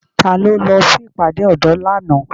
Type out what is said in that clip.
Ta lo lọ sí ìpàdé ọ̀dọ́ lánàá?